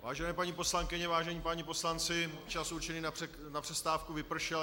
Vážené paní poslankyně, vážení páni poslanci, čas určený na přestávku vypršel.